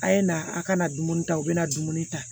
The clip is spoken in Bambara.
A ye na a kana dumuni ta u bɛna dumuni ta